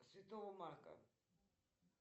святого марка